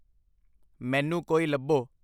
ਮੈਨੂੰ ਕੋਈ ਲੱਭੋ।